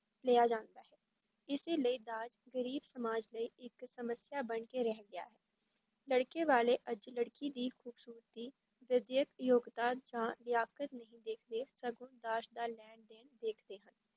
ਲਿਆ ਜਾਂਦਾ ਹੈ, ਇਸੇ ਲਈ ਦਾਜ ਗ਼ਰੀਬ ਸਮਾਜ ਲਈ ਇੱਕ ਸਮੱਸਿਆ ਬਣ ਕੇ ਰਹਿ ਗਿਆ ਹੈ, ਲੜਕੇ ਵਾਲੇ ਅੱਜ ਲੜਕੀ ਦੀ ਖੂਬਸੂਰਤੀ, ਵਿੱਦਿਅਕ ਯੋਗਤਾ ਜਾਂ ਲਿਆਕਤ ਨਹੀਂ ਦੇਖਦੇ ਸਗੋਂ ਦਾਜ ਦਾ ਲੈਣ ਦੇਣ ਦੇਖਦੇ ਹਨ।